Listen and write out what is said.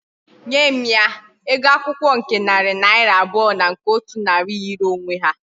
Nye m ya! Ego akwukwo nke nari naira abuo na nke otu nari yiri onwe ha